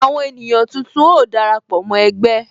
Àwọn ènìyàn tuntun ó dara pọ mó ẹgbẹ́